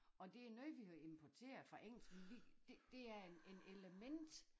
Og det noget vi har importeret fra engelsk for vi det det er en en element